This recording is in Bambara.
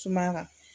Sumaya kan